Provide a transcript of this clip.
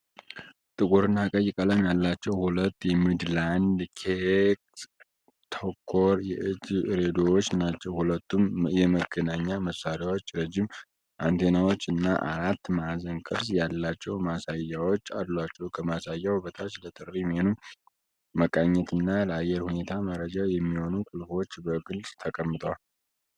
ጥቁርና ቀይ ቀለም ያላቸው ሁለት ሚድላንድ ኤክስ-ቶከር የእጅ ሬዲዮዎች ናቸው። ሁለቱም የመገናኛ መሳሪያዎች ረጅም አንቴናዎች እና አራት ማዕዘን ቅርፅ ያላቸው ማሳያዎች አሏቸው። ከማሳያው በታች ለጥሪ፣ ሜኑ፣ መቃኘትና ለአየር ሁኔታ መረጃ የሚሆኑ ቁልፎች በግልጽ ተቀምጠዋል።